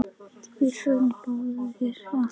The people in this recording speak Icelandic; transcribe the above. Við förum báðar að hlæja.